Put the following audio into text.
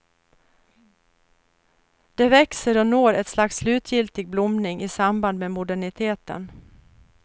Det växer och når ett slags slutgiltig blomning i samband med moderniteten.